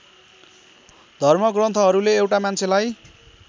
धर्मग्रन्थहरूले एउटा मान्छेलाई